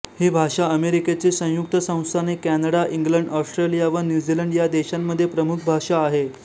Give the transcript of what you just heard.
ही भाषा अमेरिकेची संयुक्त संस्थाने कॅनडा इंग्लंड ऑस्ट्रेलिया व न्यूझीलंड ह्या देशांमध्ये प्रमुख भाषा आहे